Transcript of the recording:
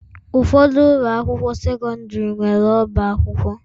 Ụfọdụ ụlọ akwụkwọ sekọndrị nwere ọbá akwụkwọ.